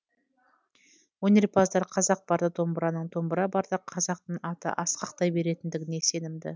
өнерпаздар қазақ барда домбыраның домбыра барда қазақтың аты асқақтай беретіндігіне сенімді